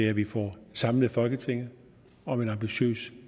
at vi får samlet folketinget om en ambitiøs